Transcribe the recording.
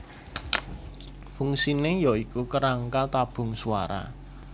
Fungsine ya iku kerangka tabung swara